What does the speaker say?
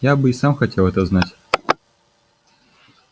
я бы и сам хотел это знать